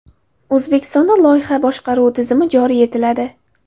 O‘zbekistonda loyiha boshqaruvi tizimi joriy etiladi.